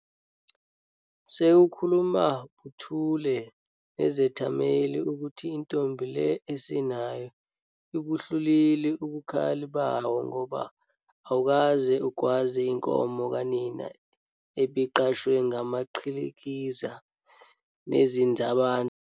Sekukhuluma buthule nezethameli ukuthi intombi le esinayo ibuhlulile ubukhali bawo ngoba awukaze ugwaze inkomo kanina ebiqashwe ngamaqhikiza nezinzalabantu.